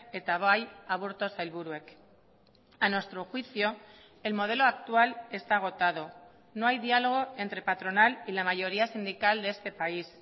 eta bai aburto sailburuek a nuestro juicio el modelo actual está agotado no hay diálogo entre patronal y la mayoría sindical de este país